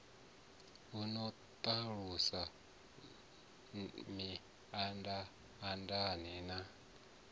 a no ṱalusa mindaandaane na